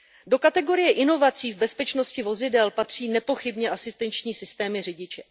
Do kategorie inovací v bezpečnosti vozidel patří nepochybně asistenční systémy řidiče.